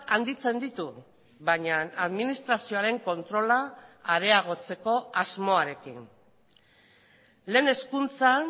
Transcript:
handitzen ditu baina administrazioaren kontrola areagotzeko asmoarekin lehen hezkuntzan